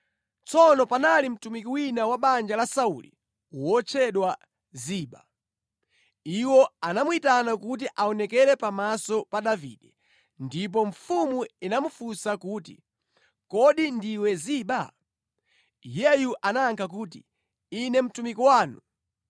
Tsono panali mtumiki wina wa banja la Sauli wotchedwa Ziba. Iwo anamuyitana kuti aonekere pamaso pa Davide, ndipo mfumu inamufunsa kuti, “Kodi ndiwe Ziba?” Iyeyo anayankha kuti, “Ine mtumiki wanu.”